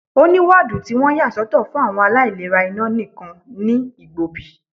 Ó ní woodu tí wọ́n yà soto fún àwọn aláìlera iná nìkan ní Igbobi.